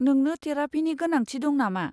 नोंनो थेरापिनि गोनांथि दं नामा?